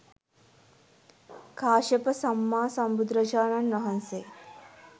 කාශ්‍යප සම්මා සම්බුදුරජාණන් වහන්සේ